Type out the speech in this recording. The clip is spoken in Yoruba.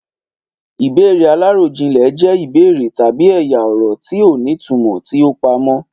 Ìbéèrè aláròjinlè jẹ́ ìbéèrè tabi ẹ̀yà-ọ̀rọ̀ tí ó ní ìtumò tí ó pamọ́.